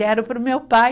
Deram para o meu pai.